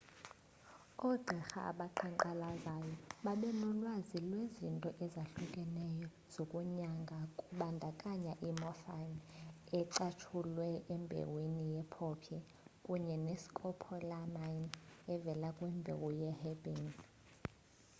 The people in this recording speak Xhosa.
ogqirha abaqhaqhayo babenolwazi lwezinto ezahlukeneyo zokunyanga kubandakanya i-morphine ecatshulwe embewini ye-poppy kunye ne-scopolamine evela kwimbewu ye-herbane